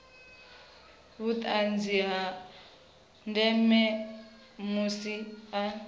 vhuṱanzi ha ndeme musi a